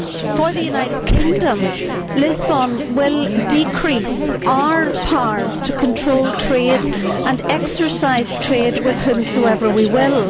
For the United Kingdom, Lisbon will decrease our powers to control trade and exercise trade with whomsoever we will.